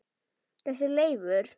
Þessi Leifur.